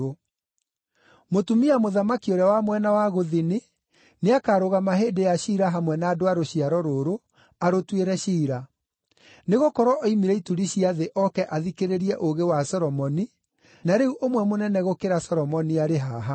Mũtumia-mũthamaki ũrĩa wa mwena wa Gũthini nĩakarũgama hĩndĩ ya ciira hamwe na andũ a rũciaro rũrũ arũtuĩre ciira, nĩgũkorwo oimire ituri cia thĩ oke athikĩrĩrie ũũgĩ wa Solomoni, na rĩu ũmwe mũnene gũkĩra Solomoni arĩ haha.